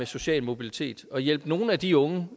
social mobilitet og hjælpe nogle af de unge